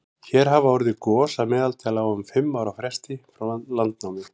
hér hafa orðið gos að meðaltali á um fimm ára fresti frá landnámi